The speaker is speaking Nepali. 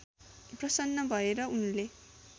प्रसन्न भए र उनले